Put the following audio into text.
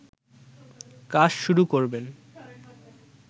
কাজ শুরু করবেন